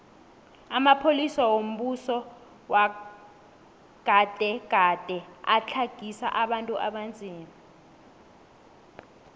amapolisa wombuso wagade gade atlagisa abantu abanzima